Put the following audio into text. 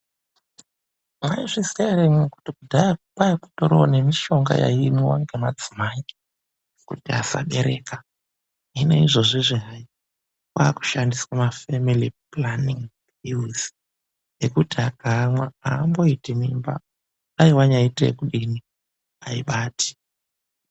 Maizviziva here imwimwi kuti kudhaya kwanga kutoriwo nemishonga yaimwiwa ne madzimai, kuti asabereka, hino izvozvi hai kwakushandiswe mafemili pulaningi pilizi, zvekuti dai wanyaite zvekudini haibati.